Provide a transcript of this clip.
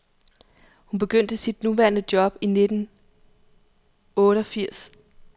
Hun begyndte sit nuværende job i nittenotteogfirs.